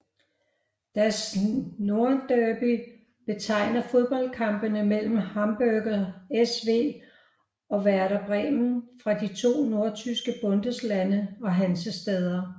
Das Nordderby betegner fodboldkampene mellem Hamburger SV og Werder Bremen fra de to nordtyske Bundeslande og Hansestæder